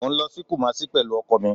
Mo n lọ si Kumasi pẹlu ọkọ mi